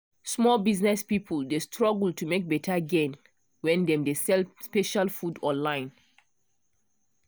small business people dey struggle to make better gain when dem dey sell special food online.